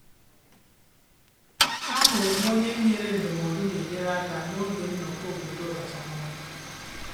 Ahụrụ m onye nyere ndụmọdụ na-enyere aka n'oge nnọkọ obodo ọkachamara